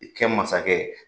I kɛ masakɛ